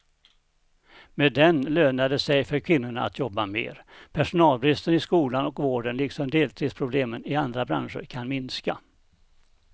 Med den lönar det sig för kvinnorna att jobba mer, personalbristen i skolan och vården liksom deltidsproblemen i andra branscher kan minska.